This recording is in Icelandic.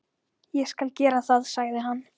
Ég skal gera það, sagði hann.